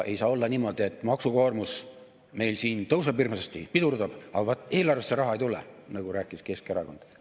Ei saa olla niimoodi, et maksukoormus meil siin tõuseb hirmsasti, pidurdab, aga vaat eelarvesse raha ei tule, nagu rääkis Keskerakond.